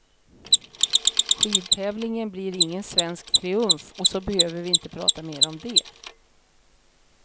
Skidtävlingen blir ingen svensk triumf och så behöver vi inte prata mer om det.